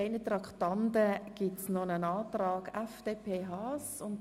Zu Traktandum 31 liegt ein Antrag der FDP von Herrn Haas vor.